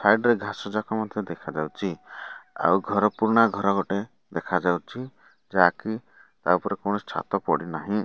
Side ରେ ଘାସ ଯାକ ମଧ୍ୟ ଦେଖାଯାଉଚି ଆଉ ଘର ପୁରୁଣା ଘର ଗୋଟେ ଦେଖାଯାଉଛି ଯାହା କି ତା ଉପରେ କୌଣସି ଛାତ ପଡି ନାହିଁ।